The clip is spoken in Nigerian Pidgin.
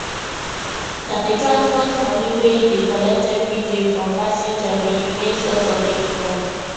na the transport money wey he dey collect every day from passenger be him main source of income